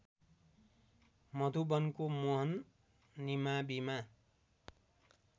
मधुवनको Mohan निमाविमा